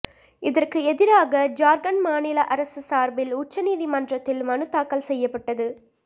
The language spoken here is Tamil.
இதற்கு எதிராக ஜார்க்கண்ட் மாநில அரசு சார்பில் உச்சநீதிமன்றத்தில் மனு தாக்கல் செய்யப்பட்டது